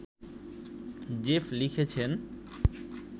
Jeff লিখেছেন